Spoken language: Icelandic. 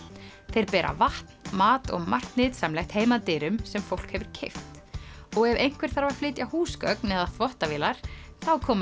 þeir bera vatn mat og margt nytsamlegt heim að dyrum sem fólk hefur keypt og ef einhver þarf að flytja húsgögn eða þvottavélar þá koma